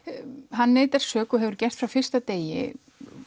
hann neitar sök og hefur gert frá fyrsta degi